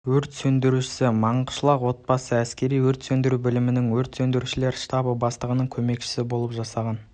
өрт сөндірушісі манғышлақ облысы әскери өрт сөндіру бөлімінің өрт сөндірушілер штабы бастығының көмекшісі болып жасаған